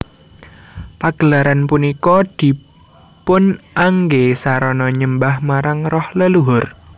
Pagelaran punika dipunanggé sarana nyembah marang roh leluhur